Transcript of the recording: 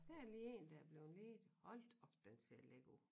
Der lige én der er blevet ledig hold da op den ser lækker ud